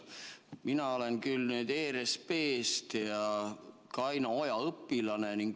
Mina olen ERSP-st ja Kalju Oja õpilane.